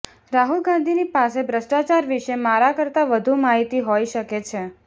રાહુલ ગાંધીની પાસે ભ્રષ્ટાચાર વિશે મારા કરતા વધુ માહિતી હોઈ શકે છે